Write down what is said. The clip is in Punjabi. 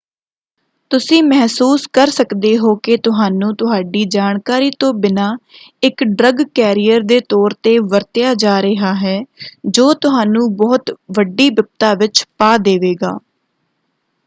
ਤੁਸੀਂ ਮਹਿਸੂਸ ਕਰ ਸਕਦੇ ਹੋ ਕਿ ਤੁਹਾਨੂੰ ਤੁਹਾਡੀ ਜਾਣਕਾਰੀ ਤੋਂ ਬਿਨਾਂ ਇਕ ਡਰੱਗ ਕੈਰੀਅਰ ਦੇ ਤੌਰ ‘ਤੇ ਵਰਤਿਆ ਜਾ ਰਿਹਾ ਹੈ ਜੋ ਤੁਹਾਨੂੰ ਬਹੁਤ ਵੱਡੀ ਬਿਪਤਾ ਵਿੱਚ ਪਾ ਦੇਵੇਗਾ।